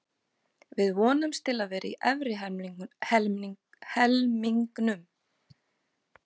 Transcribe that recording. Við vonumst til að vera í efri helmingnum.